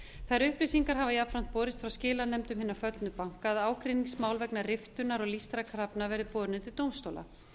þær upplýsingar hafa jafnframt borist frá skilanefndum hinna föllnu banka að ágreiningsmál vegna riftunar og lýstra krafna verði borin undir dómstóla